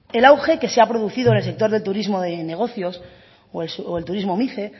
el auge que se ha producido en el sector del turismo de negocios o el turismo mice